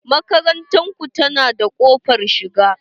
Makarantar ku ta na da ƙofar shiga?